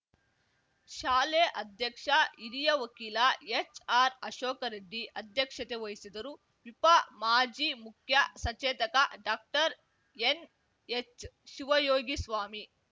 ಶಾಲೆ ಅಧ್ಯಕ್ಷ ಹಿರಿಯ ವಕೀಲ ಎಚ್‌ಆರ್‌ಅಶೋಕ ರೆಡ್ಡಿ ಅಧ್ಯಕ್ಷತೆ ವಹಿಸಿದ್ದರು ವಿಪ ಮಾಜಿ ಮುಖ್ಯ ಸಚೇತಕ ಡಾಕ್ಟರ್ಎನ್ಹೆಚ್‌ಶಿವಯೋಗಿಸ್ವಾಮಿ